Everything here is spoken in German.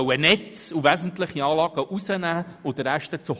Meine erste Information betrifft den Ablauf der weiteren Beratung.